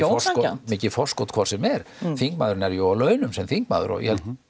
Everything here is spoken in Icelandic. ósanngjarnt mikið forskot hvort sem er þingmaðurinn er jú á launum sem þingmaður og ég held nú